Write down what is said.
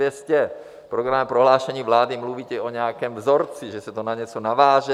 V programovém prohlášení vlády mluvíte o nějakém vzorci, že se to na něco naváže.